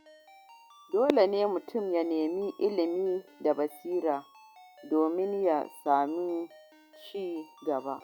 Dole ne mutum ya nemi ilimi da basira domin ya samu ci gaba.